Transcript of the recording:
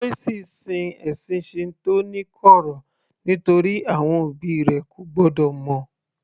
Tracey sin ẹ̀sìn Shinto ní kọ̀rọ̀ nítorí àwọn òbí rẹ̀ ko gbọ́dọ̀ mọ̀